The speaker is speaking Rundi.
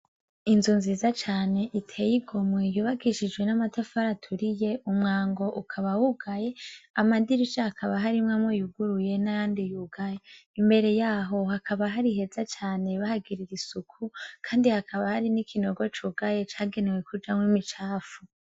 Inzu nziza cane iteye igomwe yubagishijwe n'amatafari aturiye umwango ukaba wugaye amadirisha hakaba harimwo amwe yuguruye n'ayandi yugaya imbere yaho hakaba hari heza cane bahagirira isuku, kandi hakaba hari n'ikinogo cugaye cagenewe kujamwo imicafu.